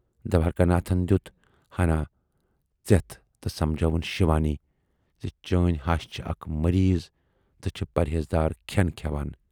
دوارِکا ناتھن دِیُت ہَنا ژٮ۪تھ تہٕ سمجٲوٕنۍ شِوانی زِ چٲنۍ ہش چھِ اکھ مریٖض تہٕ چھِ پرہیزدار کھٮ۪ن کھٮ۪وان۔